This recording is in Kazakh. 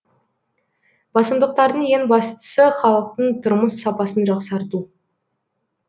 басымдықтардың ең бастысы халықтың тұрмыс сапасын жақсарту